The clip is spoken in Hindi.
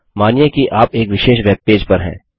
मानिए कि आप एक विशेष वेबपेज पर हैं